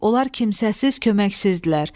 Onlar kimsəsiz, köməksizdirlər.